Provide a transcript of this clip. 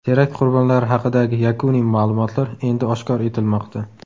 Terakt qurbonlari haqidagi yakuniy ma’lumotlar endi oshkor etilmoqda.